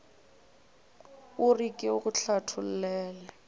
o re ke go hlathollele